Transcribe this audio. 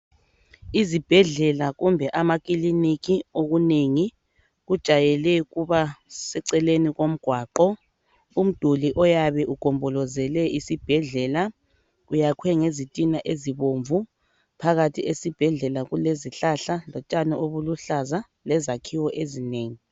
Izibhedlela kumbe amakiliniki okunengi kujayele ukuba seceleni komgwaqo. Umduli oyabe ugombolozele isibhedlela uyakhwe ngezitina ezibomvu phakathi esibhedlela kulezihlahla lotshani obuluhlaza lezakhiwo ezinengi.